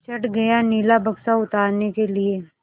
चढ़ गया नीला बक्सा उतारने के लिए